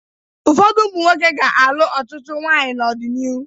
Ụfọdụ ụmụ nwoke ga-alụ ọtụtụ nwaanyị n'ọdịnihu.